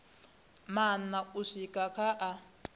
maṋa u swika kha a